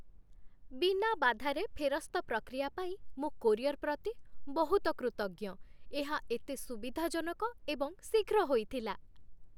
ବିନା ବାଧାରେ ଫେରସ୍ତ ପ୍ରକ୍ରିୟା ପାଇଁ ମୁଁ କୋରିଅର୍ ପ୍ରତି ବହୁତ କୃତଜ୍ଞ, ଏହା ଏତେ ସୁବିଧାଜନକ ଏବଂ ଶୀଘ୍ର ହୋଇଥିଲା।